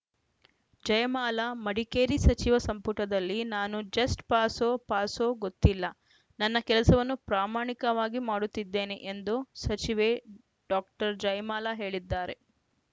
ಜಯಮಾಲಾ ಮಡಿಕೇರಿ ಸಚಿವ ಸಂಪುಟದಲ್ಲಿ ನಾನು ಜಸ್ಟ್‌ ಪಾಸೋ ಪಾಸೋ ಗೊತ್ತಿಲ್ಲ ನನ್ನ ಕೆಲಸವನ್ನು ಪ್ರಾಮಾಣಿಕವಾಗಿ ಮಾಡುತ್ತಿದ್ದೇನೆ ಎಂದು ಸಚಿವೆ ಡಾಕ್ಟರ್ ಜಯಮಾಲಾ ಹೇಳಿದ್ದಾರೆ